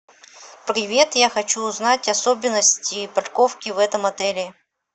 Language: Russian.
привет я хочу узнать особенности парковки в этом отеле